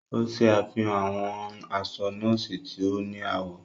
O ṣe àfihàn awọn aṣọ nọọsi tí o ni awọ.